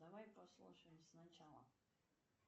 давай послушаем с начала